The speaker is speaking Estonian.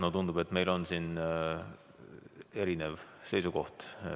No tundub, et meil on siin erinev seisukoht.